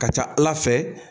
Ka ca Ala fɛ